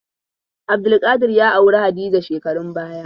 Abdulkadir ya auri Hadiza shekarun baya.